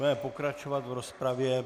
Budeme pokračovat v rozpravě.